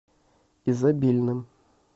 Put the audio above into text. изобильным